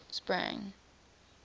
sprang